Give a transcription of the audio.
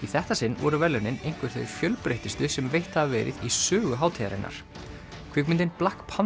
þetta sinn voru verðlaunin einhver þau fjölbreyttustu sem veitt hafa verið í sögu hátíðarinnar kvikmyndin